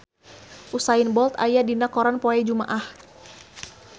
Usain Bolt aya dina koran poe Jumaah